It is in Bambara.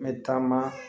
N bɛ taama